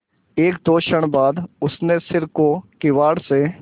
एकदो क्षण बाद उसने सिर को किवाड़ से